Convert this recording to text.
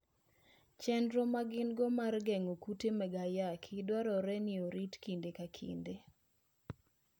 Chenro ma gin-go mar geng'o kute mag ayaki dwarore ni orit kinde ka kinde.